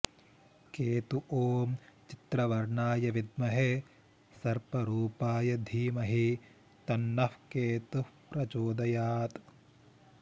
केतु ॐ चित्रवर्णाय विद्महे सर्परूपाय धीमहि तन्नः केतुः प्रचोदयात्